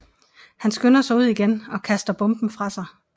Han skynder sig ud igen og kaster bomben fra sig